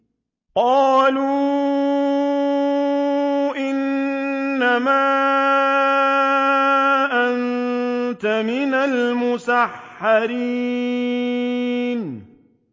قَالُوا إِنَّمَا أَنتَ مِنَ الْمُسَحَّرِينَ